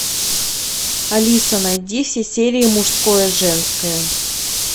алиса найди все серии мужское женское